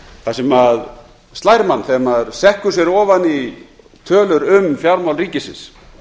það sem slær mann þegar maður sökkvir sér ofan í tölur um fjármál ríkisins